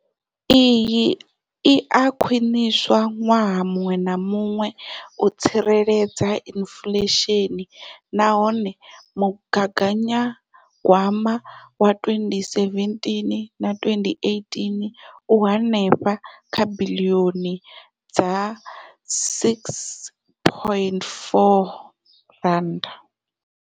Iyi i a khwiniswa ṅwaha muṅwe na muṅwe u tsireledza inflesheni nahone mugaganyagwama wa 2017 2018 u henefha kha biḽioni dza R6.4.